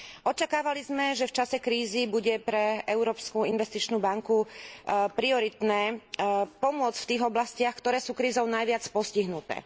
Očakávali sme, že v čase krízy bude pre Európsku investičnú banku prioritné pomôcť v tých oblastiach, ktoré sú krízou najviac postihnuté.